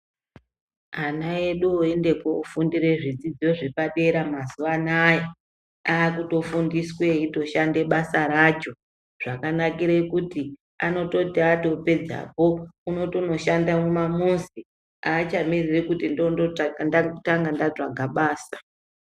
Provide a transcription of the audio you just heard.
Ana edu oende kufundire zvidzidzo zvepadera mazuwa anaya akutofundiswe eitoshande basa racho. Zvakanakire kuti anototi atopedzapo unotoshanda mumamuzi aachamiriri kuti ndotanga ndatsvaga basa.